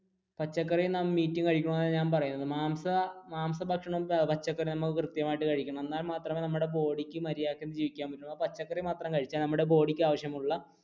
പച്ചക്കറിയും meat നാം കഴിക്കണം എന്നാണ് ഞാൻ പറയുന്നത് മാംസ മാംസ ഭക്ഷണവും പച്ചക്കറിയും നാം കൃത്യമായിട്ട് കഴിക്കണം എന്നാൽ മാത്രമേ നമ്മുടെ body ക്ക് മര്യാദയ്ക്ക് ജീവിക്കാൻ പറ്റുള്ളൂ പച്ചക്കറി മാത്രം കഴിച്ചാൽ നമ്മുടെ body ക്ക് ആവശ്യമുള്ള